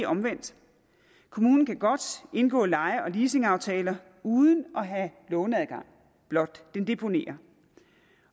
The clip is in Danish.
omvendt kommunen kan godt indgå leje og leasingaftaler uden at have låneadgang blot den deponerer